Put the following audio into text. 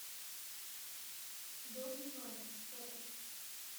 дом диванов фото